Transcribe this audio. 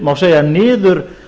má segja niður